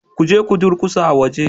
Kuje ku durkusa a waje